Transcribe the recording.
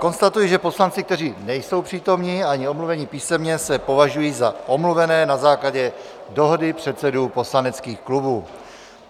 Konstatuji, že poslanci, kteří nejsou přítomni ani omluveni písemně, se považují za omluvené na základě dohody předsedů poslaneckých klubů.